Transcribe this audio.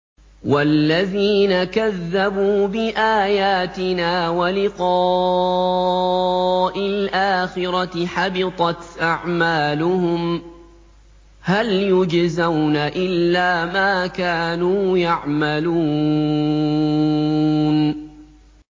وَالَّذِينَ كَذَّبُوا بِآيَاتِنَا وَلِقَاءِ الْآخِرَةِ حَبِطَتْ أَعْمَالُهُمْ ۚ هَلْ يُجْزَوْنَ إِلَّا مَا كَانُوا يَعْمَلُونَ